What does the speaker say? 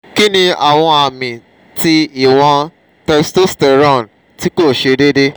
kini awon ami ti iwon testosterone ti ko se deede?